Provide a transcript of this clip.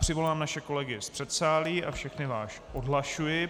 Přivolám naše kolegy z předsálí a všechny vás odhlašuji.